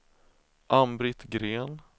Ann-Britt Green